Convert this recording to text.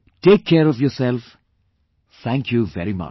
Take care of yourself, thank you very much